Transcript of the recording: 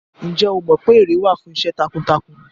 Ǹjẹ́ o mọ pé ère wà fún iṣẹ́ takuntakun?